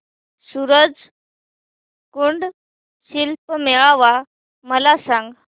सूरज कुंड शिल्प मेळावा मला सांग